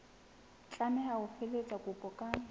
tlameha ho felehetsa kopo ka